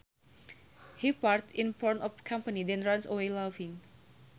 He farts in front of company then runs away laughing